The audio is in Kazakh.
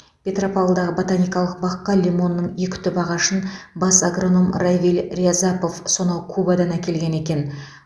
петропавлдағы ботаникалық баққа лимонның екі түп ағашын бас агроном равиль рязапов сонау кубадан әкелген екен